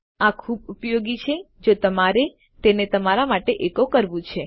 આ ખુબ ઉપયોગી છે જો તમારે તેને તમારા માટે એકો કરવું છે